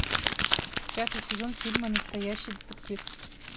пятый сезон фильма настоящий детектив